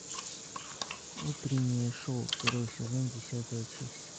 утреннее шоу второй сезон десятая часть